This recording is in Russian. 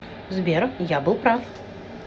сбер я был прав